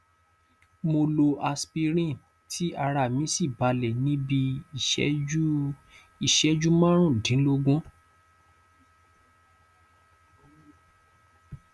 mo lo aspirin tí ara mí sì balẹ ní bí iìṣẹjú iìṣẹjú márùndínlógún